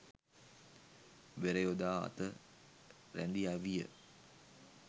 වෙර යොදා අත රැඳි අවිය